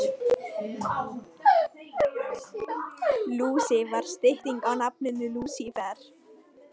Bría, hvað er klukkan?